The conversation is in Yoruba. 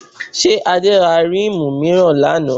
Ṣé Adé ra ríìmù mìíràn lánàá?